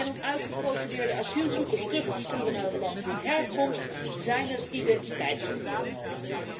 Om uitgeprocedeerde asielzoekers terug te sturen naar het land van herkomst zijn identiteitspapieren nodig.